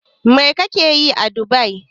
Mai kake yi a Dubai?